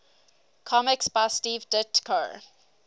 comics by steve ditko